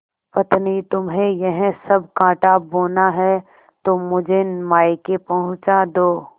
पत्नीतुम्हें यह सब कॉँटा बोना है तो मुझे मायके पहुँचा दो